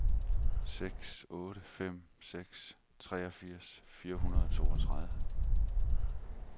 seks otte fem seks treogfirs fire hundrede og toogtredive